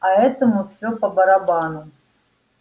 а этому все по-барабану